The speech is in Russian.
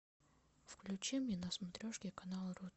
включи мне на смотрешке канал ру